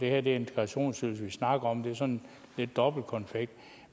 er der integrationsydelsen vi snakker om det er sådan lidt dobbeltkonfekt